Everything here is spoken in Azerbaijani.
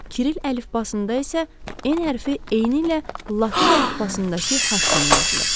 Kiril əlifbasında isə N hərfi eynilə latın əlifbasındakı H kimi yazılır.